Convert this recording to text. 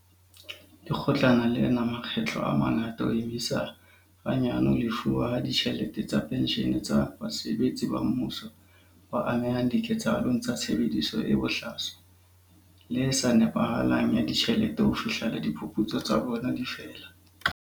Lekgotlana lena makgetlo a mangata ho emisa hanyane ho lefuwa ha ditjhelete tsa penshene tsa basebeletsi ba mmuso ba amehang diketsahalong tsa tshebediso e bohlaswa le e sa nepahalang ya ditjhelete ho fihlela diphuputso tsa bona di fela.